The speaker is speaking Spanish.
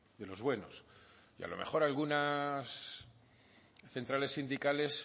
de los buenos y a lo mejor algunas centrales sindicales